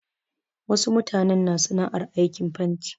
Wasu mutanen na sana'ar aikin fanti.